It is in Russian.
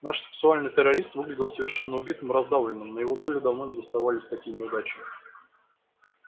наш сексуальный террорист выглядел совершенно убитым и раздавленным на его долю давно не доставались такие неудачи